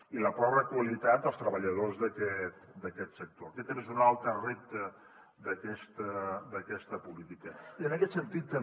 i la pobra qualitat dels treballadors d’aquest sector aquest també és un altre repte d’aquesta política i en aquest sentit també